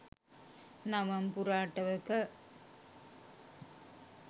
නවම් පුර අටවක